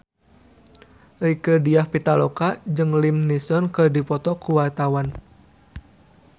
Rieke Diah Pitaloka jeung Liam Neeson keur dipoto ku wartawan